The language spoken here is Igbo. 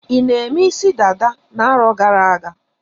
I na-eme isi dada na-arọ gara-aga?